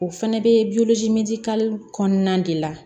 O fɛnɛ bɛ kɔnɔna de la